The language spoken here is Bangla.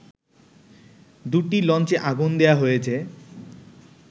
দুটি লঞ্চে আগুন দেয়া হয়েছে